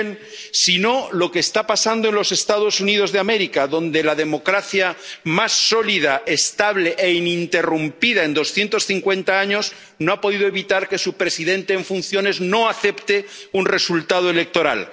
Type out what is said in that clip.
Miren, si no, lo que está pasando en los Estados Unidos de América, donde la democracia más sólida, estable e ininterrumpida en 250 años no ha podido evitar que su presidente en funciones no acepte un resultado electoral.